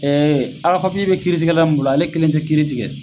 a ka be kiiritigɛla min bolo ale kelen tɛ kiiri tigɛ